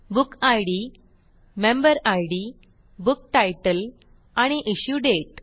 book id member id book title आणि issue date